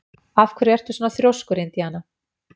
Af hverju ertu svona þrjóskur, Indiana?